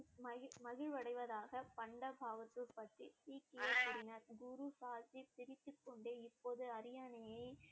மகிழ்~ மகிழ்வடைவதாக பண்டா பகதூர் பற்றி சீக்கியர் கூறினார் குரு சாஸ்திரி சிரித்துக்கொண்டே இப்போது அரியணையை